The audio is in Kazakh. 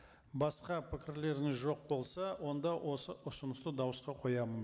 басқа пікірлеріңіз жоқ болса онда осы ұсынысты дауысқа қоямын